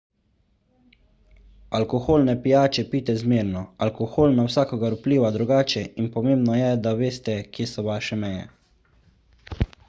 alkoholne pijače pijte zmerno alkohol na vsakogar vpliva drugače in pomembno je da veste kje so vaše meje